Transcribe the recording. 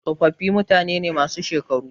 Tsofaffi mutane ne masu shekaru.